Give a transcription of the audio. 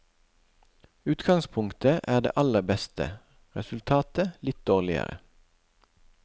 Utgangspunktet er det aller beste, resultatet litt dårligere.